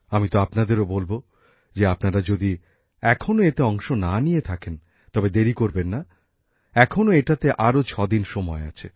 আমি তো আপনাদেরও বলব যে আপনারা যদি এখনও এতে অংশ না নিয়ে থাকেন তবে দেরি করবেন না এখনও এটাতে আরও ছদিন সময় আছে